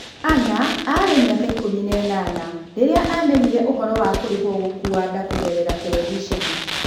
Ana* aarĩ na mĩaka ikumi na ĩnana rĩrĩa aamenyire ũhoro wa kũrĩhũo gokuua nda kũgerera TV.